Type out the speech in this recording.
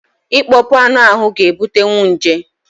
Ịkpọọ kpụ anụ ahụ ga ebutenwu nje